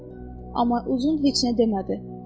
Amma uzun heç nə demədi.